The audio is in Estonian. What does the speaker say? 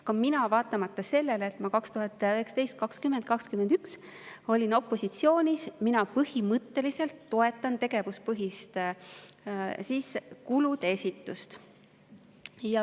Ka mina, vaatamata sellele, et ma 2019, 2020 ja 2021 olin opositsioonis, põhimõtteliselt toetan tegevuspõhist kulude esitust.